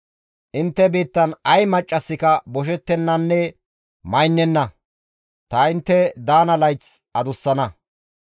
Intte biittan ay maccasika boshettennanne maynenna. Tani intte daana layth adussana.